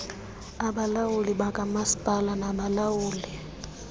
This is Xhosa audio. abalawuli bakamasipala nabalawuli